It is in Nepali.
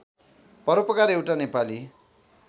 परोपकार एउटा नेपाली